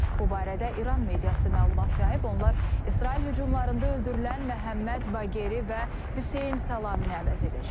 Bu barədə İran mediası məlumat yayıb, onlar İsrail hücumlarında öldürülən Məhəmməd Baqeri və Hüseyn Salamini əvəz edəcək.